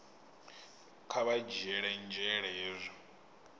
kha vha dzhiele nzhele hezwi